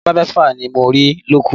Labalábá mẹ́fà ni mo rí lóko